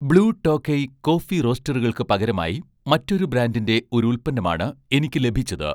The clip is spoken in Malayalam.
ബ്ലൂ ടോക്കൈ' കോഫി റോസ്റ്ററുകൾക്കു പകരമായി മറ്റൊരു ബ്രാൻഡിന്‍റെ ഒരു ഉൽപ്പന്നമാണ് എനിക്ക് ലഭിച്ചത്